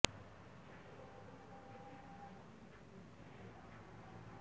ছাত্র সংসদ নির্বাচনের দাবিতে যাদবপুর বিশ্ববিদ্যালয়ে পড়ুয়াদের একাংশের অবস্থানের জেরে ঘেরাও বিশ্ববিদ্যালয়ের সহ উপাচার্য